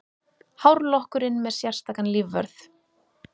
Hárlokkurinn með sérstakan lífvörð